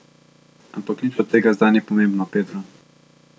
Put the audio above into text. Ampak nič od tega zdaj ni pomembno, Pedro.